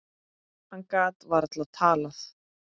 Hann gat varla talað.